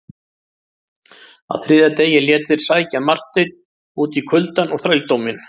Á þriðja degi létu þeir sækja Marteinn út í kuldann og þrældóminn.